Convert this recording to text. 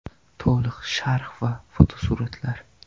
To‘liq sharh va fotosuratlar.